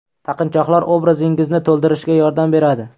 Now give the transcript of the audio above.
Taqinchoqlar obrazingizni to‘ldirishga yordam beradi.